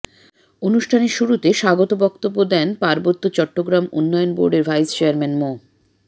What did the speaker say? অনুষ্ঠানের শুরুতে স্বাগত বক্তব্য দেন পার্বত্য চট্টগ্রাম উন্নয়ন বোর্ডের ভাইস চেয়ারম্যান মো